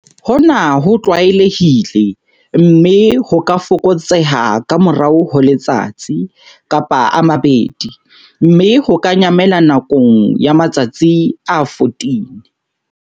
Hona ho tlwaelehile, mme ho ka fokotseha ka morao ho letsatsi, kapa a mabedi, mme ho ka nyamela nakong ya matsatsi a 14.